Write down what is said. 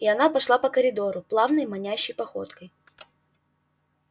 и она пошла по коридору плавной манящей походкой